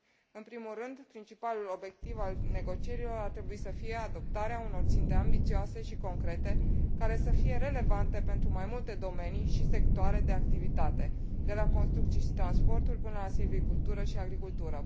În primul rând, principalul obiectiv al negocierilor ar trebui să fie adoptarea unor ținte ambițioase și concrete, care să fie relevante pentru mai multe domenii și sectoare de activitate de la construcții și transporturi până la silvicultură și agricultură.